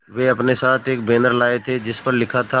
वे अपने साथ एक बैनर लाए थे जिस पर लिखा था